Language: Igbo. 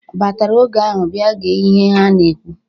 ..batara oge ahụ bịa gee ihe ha na-ekwu.